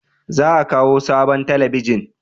Za a kawo sabon talabijin?